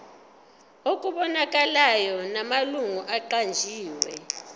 okubonakalayo namalungu aqanjiwe